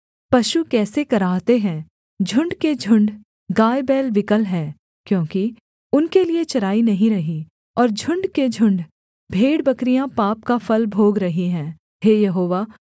पशु कैसे कराहते हैं झुण्ड के झुण्ड गायबैल विकल हैं क्योंकि उनके लिये चराई नहीं रही और झुण्ड के झुण्ड भेड़बकरियाँ पाप का फल भोग रही हैं